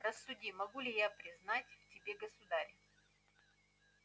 рассуди могу ли я признать в тебе государя